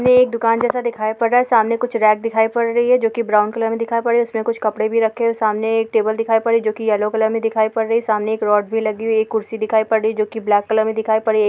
यह एक दुकान जैसा दिखाई पड़ रहा है सामने कुछ रैक दिखाई पड़ रहे है जोके ब्राउन कलर में दिखाई पड़ रही है उसमे कुछ कपड़े भी रखे है सामने एक टेबल दिखाई पड़ रही है जो कि येलो कलर में दिखाई पड़ रही है सामने एक रअड भी लगी हुई है एक कुर्सी दिखाई पड़ रही है जो कि ब्लैक कलर में दिखाई पड़ रही है।